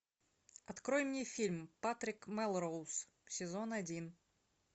открой мне фильм патрик мелроуз сезон один